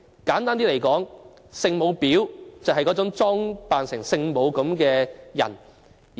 簡單的說，'聖母婊'就是那種裝成聖母的女婊子。